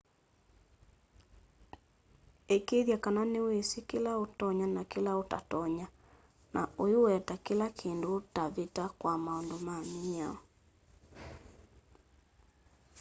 ikiithya kana niwisi kila utonya na kila utatonya na uiweta kila kindu utavita kwa maundu ma miao